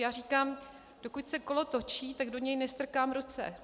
Já říkám, dokud se kolo točí, tak do něj nestrkám ruce.